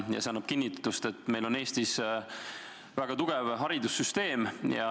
See annab kinnitust, et meil on Eestis väga tugev haridussüsteem.